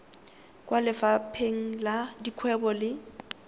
kwa lefapheng la dikgwebo le